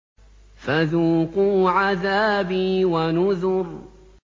فَذُوقُوا عَذَابِي وَنُذُرِ